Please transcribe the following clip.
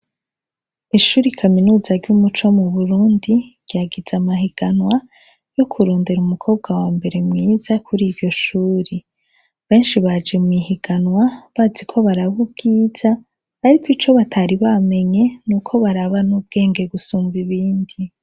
Ishure kaminuza ryumuco muburundi ryagize amahiganwa yo kurondera umukobwa wambere mwiza kuriryo shuri benshi baje mwihiganwa bazi ko baraba ubwiza ariko nico batari bamenye nuko baraba ubwenge kurunsha nibindi